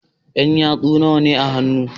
Yan yatsu nawane a hannu